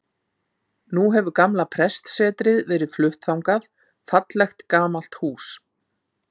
Nú hefur gamla prestssetrið verið flutt þangað, fallegt, gamalt hús.